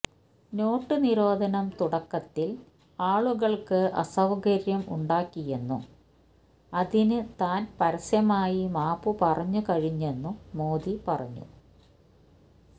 not നിരോധനം തുടക്കത്തിൽ ആളുകൾക്ക് അസൌകര്യം ഉണ്ടാക്കിയെന്നും അതിന് താൻ പരസ്യമായി മാപ്പു പറഞ്ഞുകഴിഞ്ഞെന്നും മോദി പറഞ്ഞു